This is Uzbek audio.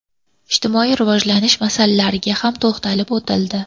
Ijtimoiy rivojlantirish masalalariga ham to‘xtalib o‘tildi.